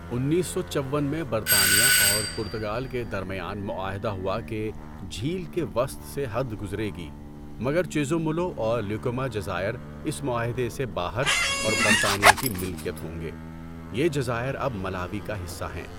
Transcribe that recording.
انیس سو چوّن میں برطانیہ اور پرتگال کے درمیان معاہدہ ہوا کہ جھیل کے وسط سے حد گزرے گی مگر چیزومولو اور لیکوما جزائر اس معاہدے سے باہر اور برطانیہ کی ملکیت ہوں گے۔ یہ جزائر اب ملاوی کا حصہ ہیں۔